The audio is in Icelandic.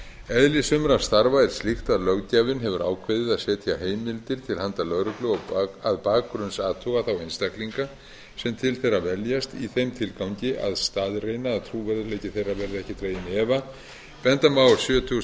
eðli sumra starfa er slíkt að löggjafinn hefur ákveðið að setja heimildir til handa lögreglu að bakgrunnsathuga þá einstaklinga sem til þeirra veljast í þeim tilgangi að staðreyna að trúverðugleiki þeirra verði ekki dreginn í efa benda má á